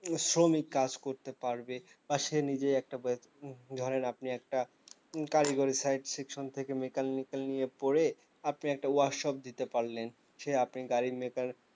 শ্রমিক কাজ করতে পারবে বা সে নিজেই একটা বে ধরেন আপনি একটা কারিগরি site section থেকে mechanical নিয়ে পড়ে আপনি একটা workshop দিতে পারলেন সে আপনি গাড়ির mechanic